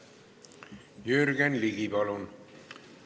Jürgen Ligi, palun!